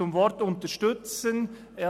Zum Wort «unterstützen»: